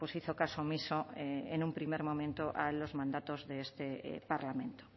hizo caso omiso en un primer momento a los mandatos de este parlamento